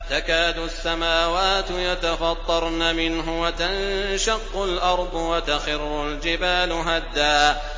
تَكَادُ السَّمَاوَاتُ يَتَفَطَّرْنَ مِنْهُ وَتَنشَقُّ الْأَرْضُ وَتَخِرُّ الْجِبَالُ هَدًّا